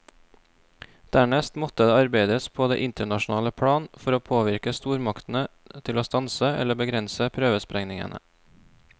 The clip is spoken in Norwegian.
Dernest måtte det arbeides på det internasjonale plan for å påvirke stormaktene til å stanse eller begrense prøvesprengningene.